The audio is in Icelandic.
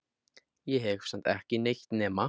Ég hefi samt ekki eytt nema